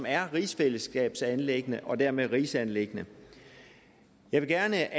er rigsfællesskabsanliggende og dermed et rigsanliggende jeg vil gerne